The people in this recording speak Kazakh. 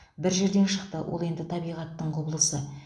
бір жерден шықты ол енді табиғаттың құбылысы